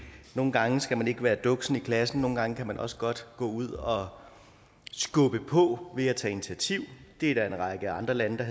nogle gange skal man ikke være duksen i klassen nogle gange kan man også godt gå ud og skubbe på ved at tage initiativ det er der en række andre lande der